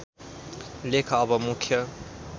लेख अब मुख्य